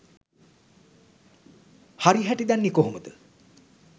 හරි හැටි දන්නේ කොහොමද